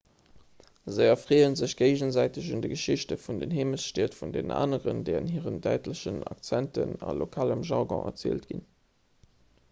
se erfreeë sech géigesäiteg un de geschichten aus den heemechtsstied vun deenen aneren déi an hiren däitlechen accenten a lokalem jargon erzielt ginn